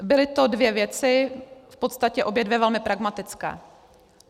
Byly to dvě věci, v podstatě obě dvě velmi pragmatické.